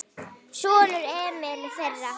Sonur: Emil Þeyr.